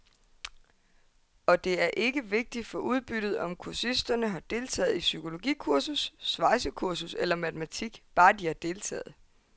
Og det er ikke vigtigt for udbyttet, om kursisterne har deltaget i psykologikursus, svejsekursus eller matematik, bare de har deltaget.